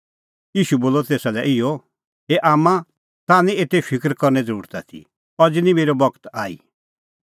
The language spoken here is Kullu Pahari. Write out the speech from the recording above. ईशू बोलअ तेसा लै इहअ ए आम्मां ताह निं एते फिकर करने ज़रुरत आथी अज़ी निं मेरअ बगत आई